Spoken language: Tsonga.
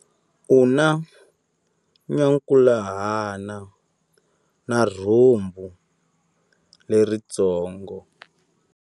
U na nyankhuhana na rhumbu leritsongo.